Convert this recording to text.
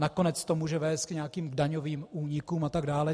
Nakonec to může vést k nějakým daňovým únikům a tak dále.